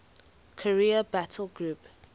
carrier battle group